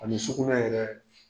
Ani sugunɛ yɛrɛ